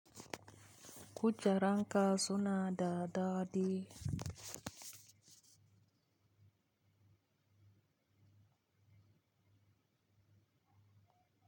Ku jeranka suna da daɗi.